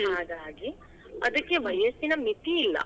ಹಾಗಾಗಿ, ಅದ್ಕೆ ವಯಸ್ಸಿನ ಮಿತಿ ಇಲ್ಲಾ.